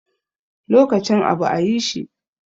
Lokacin abu a yi shi